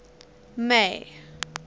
may